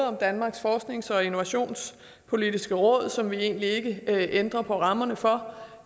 om danmarks forsknings og innovationspolitiske råd som vi egentlig ikke ændrer på rammerne for